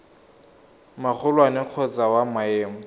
magolwane kgotsa wa maemo a